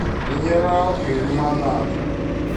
минералка и лимонад